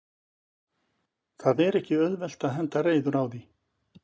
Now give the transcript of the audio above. Það er ekki auðvelt að henda reiður á því?